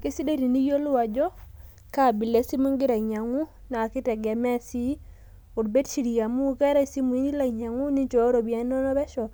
Keisidai teniyiolou ajo kaabila e simu igira ainyiang`u naa kitegemea sii olberiri amu keetae isimui nilo ainyiang`u ninchooyo iropiyiani inonok pesho.